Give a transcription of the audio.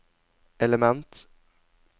element